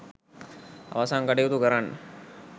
අවසන් කටයුතු කරන්න